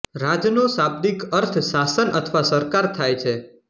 રાજનો શાબ્દિક અર્થ શાસન અથવા સરકાર થાય છે